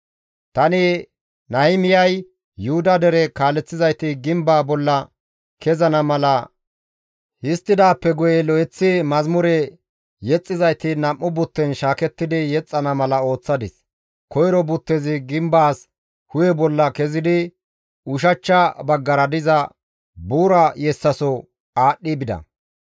Tani Nahimiyay Yuhuda dere kaaleththizayti gimbaa bolla kezana mala histtidaappe guye lo7eththi mazamure yexxizayti nam7u butten shaakettidi yexxana mala ooththadis; koyro buttezi gimbaas hu7e bolla kezidi ushachcha baggara diza, «Buura yessaso» aadhdhi bida.